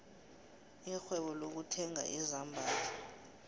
irhwebo lokuthenga izambatho